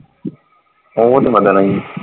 ਉਹ ਤੇ ਵਧਣਾ ਹੀ ਆ।